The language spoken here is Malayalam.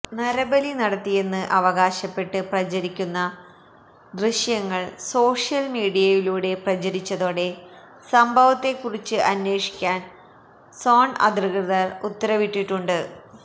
നരബലി നടത്തിയെന്ന് അവകാശപ്പെട്ട് പ്രചരിക്കുന്ന ദൃശ്യങ്ങള് സോഷ്യല് മീഡിയയിലൂടെ പ്രചരിച്ചതോടെ സംഭവത്തെ കുറിച്ച് അന്വേഷിക്കാന് സേണ് അധികൃതര് ഉത്തരവിട്ടിട്ടുണ്ട്